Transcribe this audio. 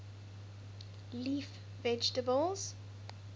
leaf vegetables